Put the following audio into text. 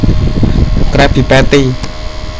Krabby Patty